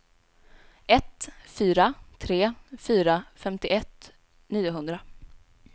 ett fyra tre fyra femtioett niohundra